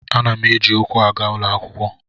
Ana m eji ụkwụ aga ụlọ akwụkwọ.